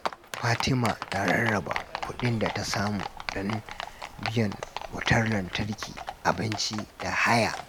Fatima ta rarraba kudin da ta samu don biyan wutar lantarki, abinci, da haya.